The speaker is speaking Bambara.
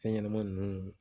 Fɛn ɲɛnɛmani nunnu